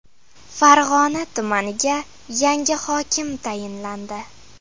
Farg‘ona tumaniga yangi hokim tayinlandi.